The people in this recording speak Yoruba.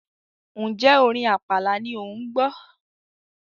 ǹjẹ́ orin àpàlà ni òun gbọ́?